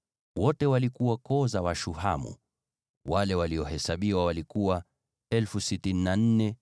Wote walikuwa koo za Washuhamu; wale waliohesabiwa walikuwa 64,400.